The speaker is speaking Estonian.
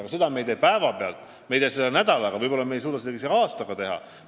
Aga me ei tee seda päeva pealt, me ei tee seda nädalaga, me ei suuda seda võib-olla isegi aastaga teha.